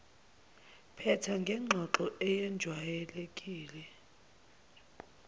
phetha ngengxoxo eyejwayelekile